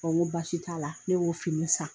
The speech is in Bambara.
ŋo baasi t'a la, ne b'o fini san.